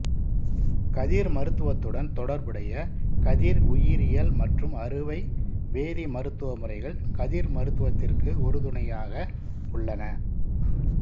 கதிர் மருத்துவத்துடன் தொடர்புடைய கதிர் உயிரியல் மற்றும் அறுவை வேதி மருந்துவ முறைகள் கதிர் மருத்துவத்திற்கு உறுதுணையாக உள்ளன